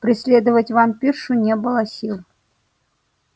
преследовать вампиршу не было сил